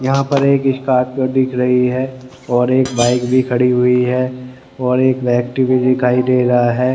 यहां पे एक स्कॉर्पियो दिख रही है और एक बाइक भी खड़ी हुई है और एक व्यक्ति भी दिखाई दे रहा है।